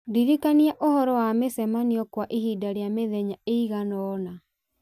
ndirikania ũhoro wa mĩcemanio kwa ihinda rĩa mĩthenya ĩigana ũna